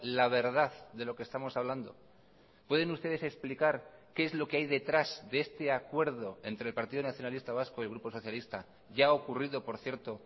la verdad de lo que estamos hablando pueden ustedes explicar qué es lo que hay detrás de este acuerdo entre el partido nacionalista vasco y grupo socialista ya ha ocurrido por cierto